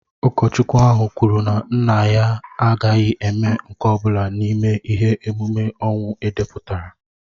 Ụkọchukwu ahụ kwuru na nna ya agaghị eme nke ọ bụla n'ime ihe ememme ọnwụ edepụtara